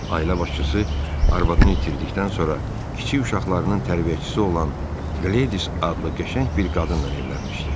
Ailə başçısı arvadını itirdikdən sonra kiçik uşaqlarının tərbiyəçisi olan Qledis adlı qəşəng bir qadınla evlənmişdi.